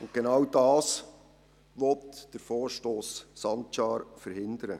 Genau das will der Vorstoss Sancar verhindern.